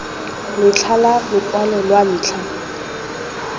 letlha la lokwalo lwa ntlha